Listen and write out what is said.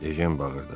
Ejen bağırdı.